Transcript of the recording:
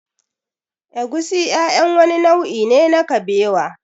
Egusi ƴaƴan wani nau'i ne na kabewa